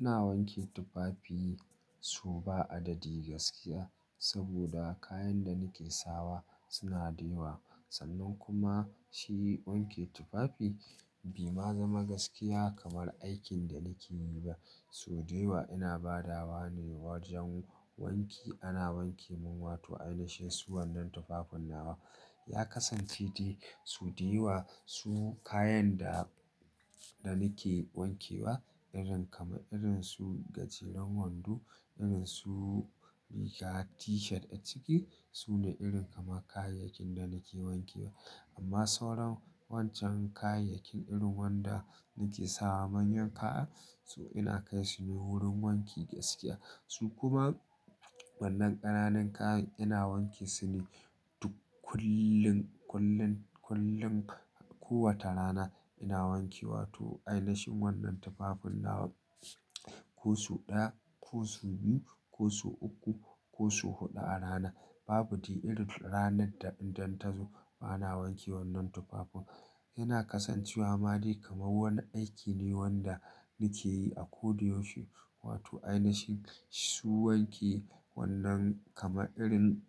Ina wanke tufafi so ba adadi gaskiya saboda kayan da nake sawa suna da yawa. Sannan kuma shi wanke tufafi bai ma zama gaskiya kamar aikin da nake yi ba. Sau dayawa ina badawa ne wajen wanki, ana wanke mun wato ainashin su wannan tufafin nawa. Ya kasance dai so daiwa su kayan da, da nake wankewa irin kamar irin su gajeren wando, irin su riga t-shirt a ciki, su ne irin kamar kayayyakin da nake wankewa. Amma sauran wancan kayayyakin irin wanda nake sawa manyan kaya, su ina kai su ne wurin wanki gaskiya. Su kuma wannan ƙananan kayan ina wanke su ne duk kullum, kullum, kullum. Ko wata rana ina wanke wato ainashin wannan tufafin nawa ko su ɗaya, ko su biyu, ko su uku, ko su huɗu a rana. Babu dai irin ranar da idan ta zo bana wanke wannan tufafin. Yana kasancewa ma dai kamar wani aiki ne wanda nake yi a ko da yaushe. Wato ainashin su wanke wannan kama irin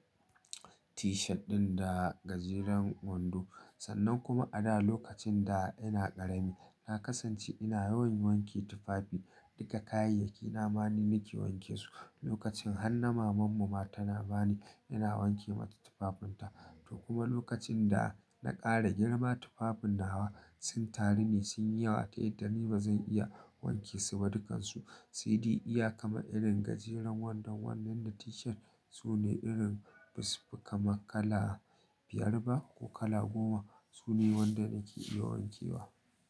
t-shirt ɗin da gajeren wando. Sannan kuma a da lokacin da ina ƙarami, na kasance ina yawan wanke tufafi. Duka kayayyaki na ma ni nake wanke su. Lokacin har na mamanmu ma tana bani, ina wanke mata tufafin ta. To kuma lokacin da na ƙara girma tufafin nawa sun taru ne sun yi yawa ta yadda ni ba zan iya wanke su ba dukansu. Sai dai iya kama irin gajeren wandon wannan da t-shirt su ne irin bas, ba kama kala biyar ba ko kala goma. Su ne waɗanda nake iya wankewa.